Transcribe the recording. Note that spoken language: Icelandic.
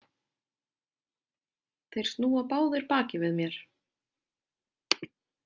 Þeir snúa báðir baki við mér.